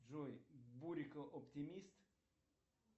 джой бурико оптимист